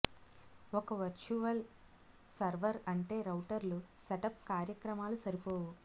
ఒక virtual server అంటే రౌటర్లు సెటప్ కార్యక్రమాలు సరిపోవు